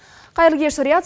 қайырлы кеш риат